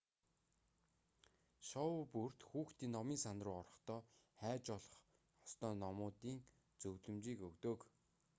шоу бүрт хүүхдийн номын сан руу орохдоо хайж олох ёстой номуудын зөвлөмжийг өгдөг